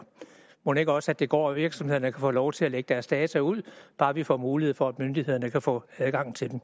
mon ikke også det går og virksomhederne kan få lov til at lægge deres data ud bare vi får mulighed for at myndighederne kan få adgang til dem